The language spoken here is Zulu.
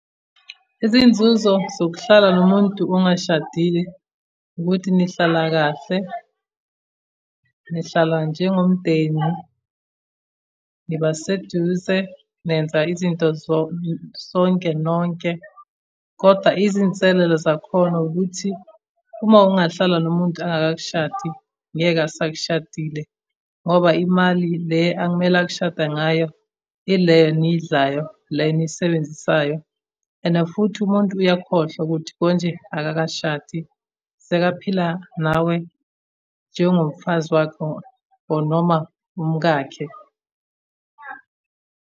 Izinzuzo zokuhlala nomuntu ungashadile, ukuthi nihlala kahle, nihlala njengomndeni, nibaseduze, nenza izinto sonke nonke, koda izinselele zakhona ukuthi, uma ungahlala nomuntu angakakushadi, ngeke asakushadile, ngoba imali le akumele akushade ngayo ile enidlayo, le enisebenzisayo, and futhi umuntu uyakhohlwa ukuthi konje akakashadi. Sekaphila nawe njengomfazi wakhe or noma umkakhe.